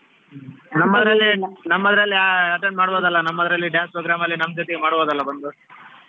ಹ್ಮ್ ನಮ್ಮದ್ರಲ್ಲಿ attend ಮಾಡ್ಬೋದಲ್ಲಾ ನಮ್ಮದ್ರಲ್ಲಿ dance program ಅಲ್ಲಿ ನಮ್ಮ್ ಜೊತೆ ಮಾಡ್ಬೋದಲ್ಲಾ ಬಂದು?